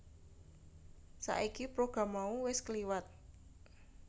Saiki program mau wis kliwat